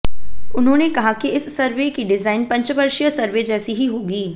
उन्होंने कहा कि इस सर्वे की डिजाइन पंचवर्षीय सर्वे जैसी ही होगी